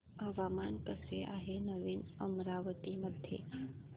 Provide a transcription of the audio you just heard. हवामान कसे आहे नवीन अमरावती मध्ये